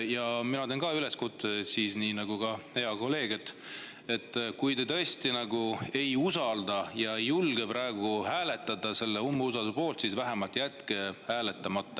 Ja mina teen ka üleskutse, nii nagu hea kolleeg: kui te tõesti ei usalda, aga ei julge praegu hääletada selle umbusalduse poolt, siis vähemalt jätke hääletamata.